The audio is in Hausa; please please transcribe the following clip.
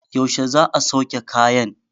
yaushe za a sauke kayan?